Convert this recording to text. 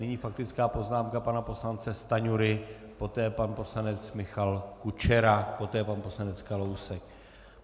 Nyní faktická poznámka pana poslance Stanjury, poté pan poslanec Michal Kučera, poté pan poslanec Kalousek.